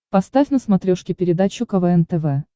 поставь на смотрешке передачу квн тв